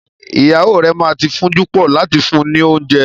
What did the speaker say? Ìyàwó rẹ ma ti fún'júpọ̀ láti fún ni oúnjẹ.